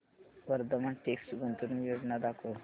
Vardhman text गुंतवणूक योजना दाखव